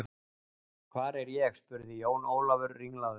Hvar er ég spurði Jón Ólafur ringlaður.